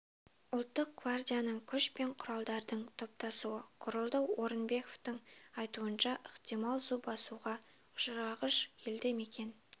ұлттық гвардияның күш пен құралдардың топтасуы құрылды орынбековтің айтуынша ықтимал су басуға ұшырағыш елді мекен